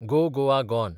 गो Goa gone